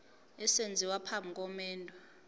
esenziwa phambi komendo